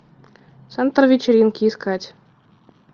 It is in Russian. центр вечеринки искать